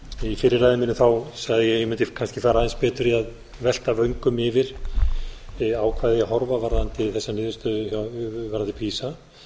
í fyrri ræðu minni sagði ég að ég mundi kannski fara aðeins betur í að velta vöngum yfir á hvað eigi að horfa varðandi þessa niðurstöðu varðandi pisa